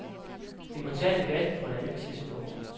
Vi må tage debatten på et andet tidspunkt.